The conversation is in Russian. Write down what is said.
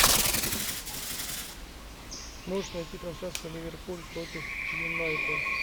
можешь найти трансляцию ливерпуль против юнайтед